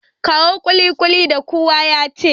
Kawo kulikuli da kuka sace.